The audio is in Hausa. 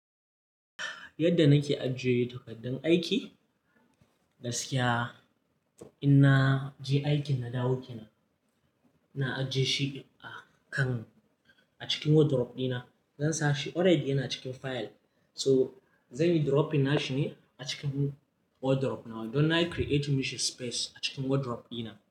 Yadda nake ajiye takaddan aiki, gaskiya in na je aikin na dawo kina, na ajiye shi a kan-- a cikin wardrobe dina. Zan sa shi already yana cikin file. So, zan yi dropping nashi ne a cikin wardrobe na. Don na create mishi space a cikin wardrobe dina.